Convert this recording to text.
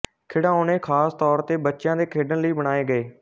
ਖਿਡਾਉਣੇ ਖ਼ਾਸ ਤੌਰ ਤੇ ਬੱਚਿਆਂ ਦੇ ਖੇਡਣ ਲਈ ਬਣਾਏ ਗਏ